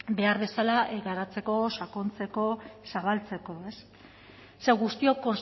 behar bezala garatzeko sakontzeko zabaltzeko ze guztiok